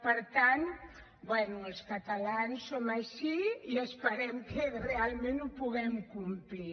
per tant bé els catalans som així i esperem que realment ho puguem complir